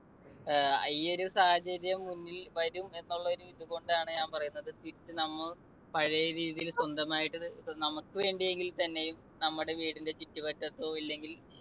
അഹ് ഈ ഒരു സാഹചര്യം മുന്നിൽ വരും എന്നുള്ള ഒരിത് കൊണ്ടാണ് ഞാൻ പറയുന്നത് തിരിച്ച് നമ്മൾ പഴയ രീതിയിൽ സ്വന്തമായിട്ട് നമുക്ക് വേണ്ടിയെങ്കിൽത്തന്നെയും നമ്മുടെ വീടിന്റെ ചുറ്റുവട്ടത്തോ ഇല്ലെങ്കിൽ